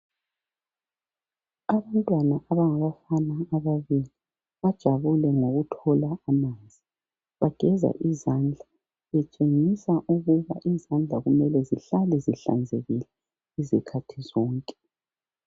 Abantwana abangabafana ababili bajabulile ngokuthola amanzi, bageza izandla betshengisa ukuba izandla kumele zihlale zihlanzekile izikhathi zonke.